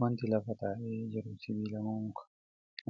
Wanti lafa taa'ee jiru sibiila moo muka?